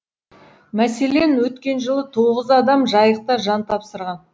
мәселен өткен жылы тоғыз адам жайықта жан тапсырған